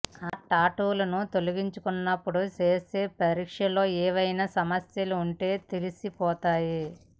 ఆ టాటూలను తొలగించుకునేటప్పుడు చేసే పరీక్షల్లో ఏవైనా సమస్యలు ఉంటే తెలిసిపోతాయి